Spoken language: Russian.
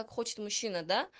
как хочет мужчина да